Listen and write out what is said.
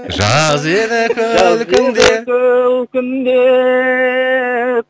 жаз еді күлкіңде жаз еді күлкіңде